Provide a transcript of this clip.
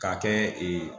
K'a kɛ ee